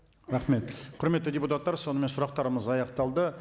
рахмет құрметті депутаттар сонымен сұрақтарымыз аяқталды